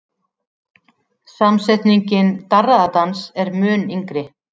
Samsetningin darraðardans er mun yngri.